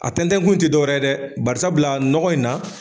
A tɛntɛ kun tɛ dɔwɛrɛ dɛ barisabula nɔgɔ in na